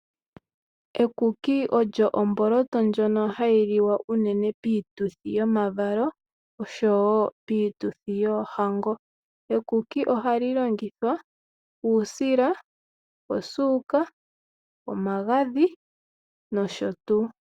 Ekuki olyo omboloto ndjono hayi liwa unene piituthi yomavalo osho wo piituthi yoohango, ekuki ohali longithwa uusila, osuuka, omagadhi nosho tuu.